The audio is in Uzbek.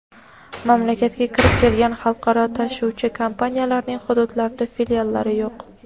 mamlakatga kirib kelgan xalqaro tashuvchi kompaniyalarning hududlarda filiallari yo‘q.